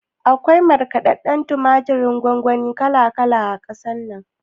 Akwai markaɗadɗen tumaturin gongoni kala kala a ƙasar nan